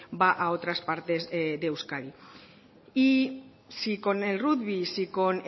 va a otras partes de euskadi y si con el rugby si con